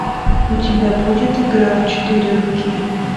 у тебя будет игра в четыре руки